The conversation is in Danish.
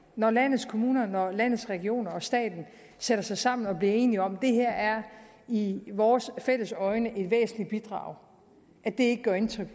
når landets kommuner når landets regioner og staten sætter sig sammen og bliver enige om at det her i vores alles øjne er et væsentligt bidrag ikke gør indtryk